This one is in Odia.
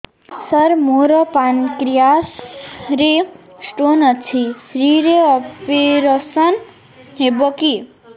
ସାର ମୋର ପାନକ୍ରିଆସ ରେ ସ୍ଟୋନ ଅଛି ଫ୍ରି ରେ ଅପେରସନ ହେବ କି